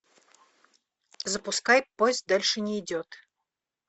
запускай поезд дальше не идет